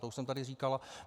To už jsem tady říkal.